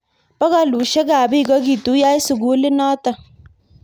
Bokolushek ab bik kokituyo eng sukulinotok.